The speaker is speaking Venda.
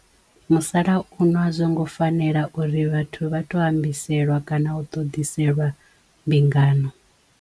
Musalauno a zwongo fanela uri vhathu vha tou ambiselwa kana u ṱoḓiselwa mbingano.